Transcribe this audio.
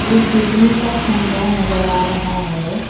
एक बिजली का खंबा नजर आ रहा है।